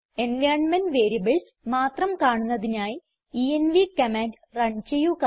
environment variables മാത്രം കാണുന്നതിനായി env command run ചെയ്യുക